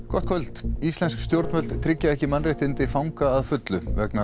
gott kvöld íslensk stjórnvöld tryggja ekki mannréttindi fanga að fullu vegna